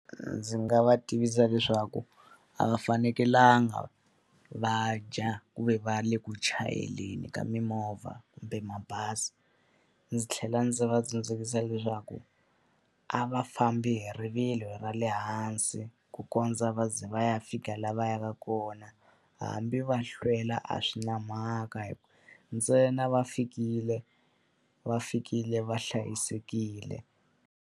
Ndzi nga va tivisa leswaku a va fanekelanga va dya ku ve va le ku chayeleni ka mimovha kumbe mabazi. Ndzi tlhela ndzi va tsundzuxa leswaku a va fambi hi rivilo ra le hansi, ku kondza va za va ya fika laha va yaka kona. Hambi va hlwela a swi na mhaka ntsena va fikile, va fikile va hlayisekile.